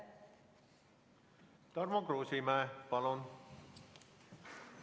Tarmo Kruusimäe, palun!